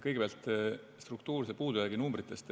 Kõigepealt struktuurse puudujäägi numbritest.